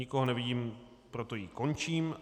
Nikoho nevidím, proto ji končím.